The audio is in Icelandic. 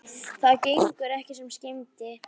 Það gengur ekki sem skyldi.